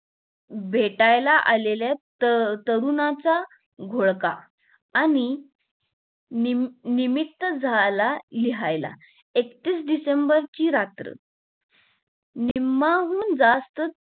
भेटायला आलेल्या त तरुणाचा घोळका आणि निम्मं निमित्त झाला लिहायला एकतीस डिसेम्बर ची रात्र निम्माहुन जास्त